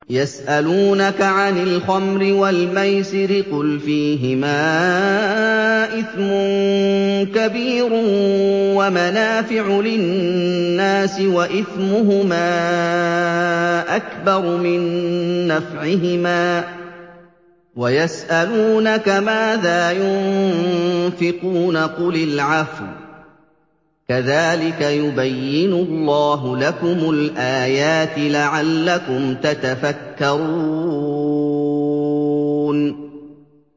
۞ يَسْأَلُونَكَ عَنِ الْخَمْرِ وَالْمَيْسِرِ ۖ قُلْ فِيهِمَا إِثْمٌ كَبِيرٌ وَمَنَافِعُ لِلنَّاسِ وَإِثْمُهُمَا أَكْبَرُ مِن نَّفْعِهِمَا ۗ وَيَسْأَلُونَكَ مَاذَا يُنفِقُونَ قُلِ الْعَفْوَ ۗ كَذَٰلِكَ يُبَيِّنُ اللَّهُ لَكُمُ الْآيَاتِ لَعَلَّكُمْ تَتَفَكَّرُونَ